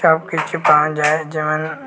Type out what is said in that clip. সবকিছু পাওয়া যায় যেমন--